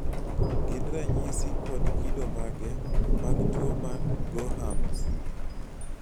gin ranyisi kod kido mage mag tuwo mar gorham's?